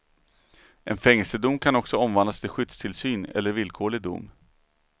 En fängelsedom kan också omvandlas till skyddstillsyn eller villkorlig dom.